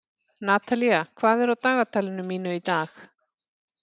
Natalía, hvað er á dagatalinu mínu í dag?